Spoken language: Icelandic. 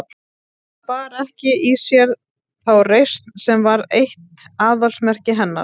Það bar ekki í sér þá reisn sem var eitt aðalsmerki hennar.